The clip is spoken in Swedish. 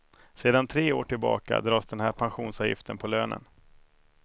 Sedan tre år tillbaka dras den här pensionsavgiften på lönen.